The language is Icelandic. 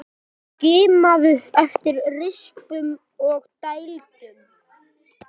Skimaðu eftir rispum og dældum.